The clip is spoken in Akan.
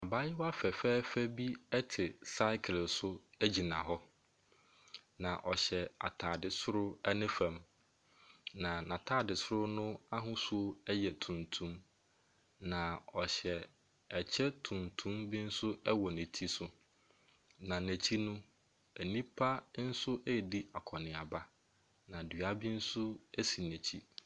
Abaayewa fɛfɛɛfɛ bi te cycle so gyina hɔ. Na ɔhyɛ ataade soro ne fam. Na n'ataade soro no ahosuo yɛ tuntum. Na ɔhyɛ ɛkyɛ tuntum bi nso wɔ ne ti so. Na n'akyi no, nnipa nso redi akɔneaba. Na dua bi nso esi n'akyi.